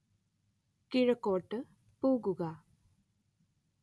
കിഴക്കോട്ട് പോവുക